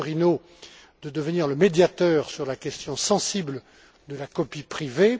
Vitorino, de devenir le médiateur sur la question sensible de la copie privée.